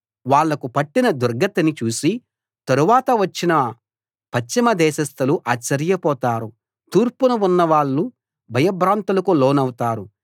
వాళ్లకు పట్టిన దుర్గతిని చూసి తరువాత వచ్చిన పశ్చిమ దేశస్తులు ఆశ్చర్యపోతారు తూర్పున ఉన్న వాళ్ళు భయభ్రాంతులకు లోనౌతారు